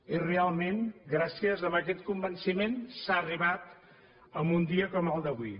i realment gràcies a aquest convenciment s’ha arribat a un dia com el d’avui